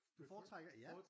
Du foretrækker ja